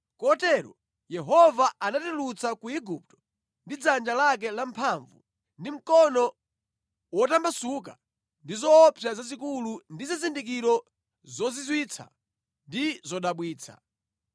Kotero Yehova anatitulutsa ku Igupto ndi dzanja lake lamphamvu ndi mkono wotambasuka ndi zoopsa zazikulu ndi zizindikiro zozizwitsa ndi zodabwitsa.